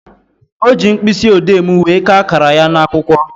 O ji mkpịsịodee m wee kaa akara ya n'akwụkwọ